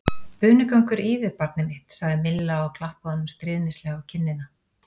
Bunugangur í þér, barnið mitt sagði Milla og klappaði honum stríðnislega á kinnina.